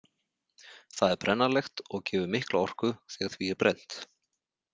Það er brennanlegt og gefur mikla orku þegar því er brennt.